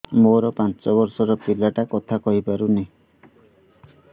ମୋର ପାଞ୍ଚ ଵର୍ଷ ର ପିଲା ଟା କଥା କହି ପାରୁନି